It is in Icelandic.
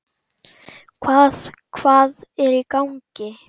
Hvað, hvað er í gangi?